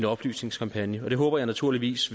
oplysningskampagne og det håber jeg naturligvis